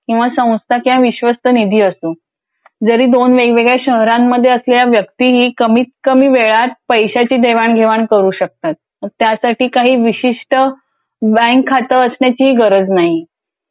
संस्था किंवा मस्त निधी असो. जरी दोन वेगळ्यावेगळ्या शहरांमध्ये असलेली व्यक्ती कमीत कमी वेळात पैसाची देवाणघेवाण करू शकतो. मग त्यासाठी काही विशिष्ट बँक खातंही असण्याची गरज नाही.